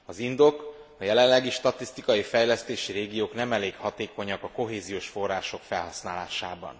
Az indok a jelenlegi statisztikai fejlesztési régiók nem elég hatékonyak a kohéziós források felhasználásában.